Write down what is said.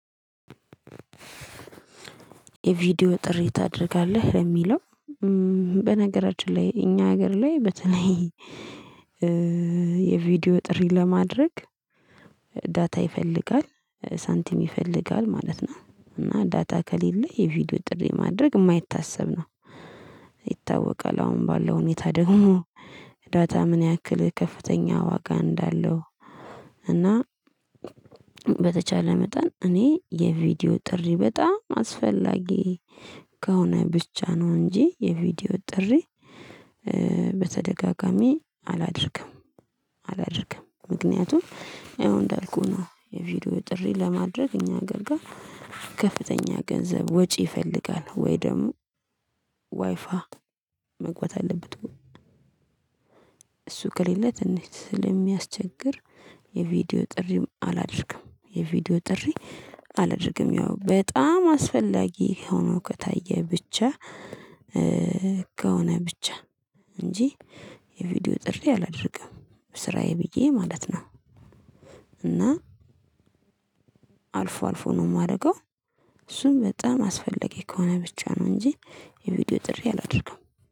የቪዲዮ ጥሪ ታደርጋለህ ለሚለው? በነገራችን ላይ እኛ ሀገር ላይ በተለይ። የቪዲዮ ጥሪ ለማድረግ ዳታ ይፈልጋል ሳንቲም ይፈልጋል ማለት ነው። እና ዳታ ከሌለ የቪዲዮ ጥሪ ማድረግ የማይታሰብ ነው። ይታወቃል አሁን ባለው ሁኔታ ደግሞ። ዳታ ምን ያክል ከፍተኛ ዋጋ እንዳለው። እና በተቻለ መጠን እኔ የቪዲዮ ጥሪ በጣም አስፈላጊ። ከሆነ ብቻ ነው እንጂ የቪዲዮ ጥሪ በተደጋጋሚ አላደርግም። አላደርግም ምክንያቱም ይሄው እንዳልኩህ ነው የቪዲዮ ጥሪ ለማድረግ እኛ ሀገር ጋር። ከፍተኛ ገንዘብ ወጪ ይፈልጋል ወይ ደግሞ ዋይፋይ መግባት አለበት። እሱ ከሌለ ትንሽ ስለሚያስቸግር የቪዲዮ ጥሪም አላደርግም። የቪዲዮ ጥሪ አላደርግም ያው በጣም አስፈላጊ ሆኖ ከታየ ብቻ። ከሆነ ብቻ እንጂ የቪዲዮ ጥሪ አላደርግም ስራዬ ብዬ ማለት ነው። እና አልፎ አልፎ ነው የማደርገው። እሱም በጣም አስፈላጊ ከሆነ ብቻ ነው እንጂ የቪዲዮ ጥሪ አላደርግም